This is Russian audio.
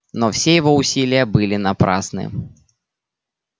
но все его усилия были напрасны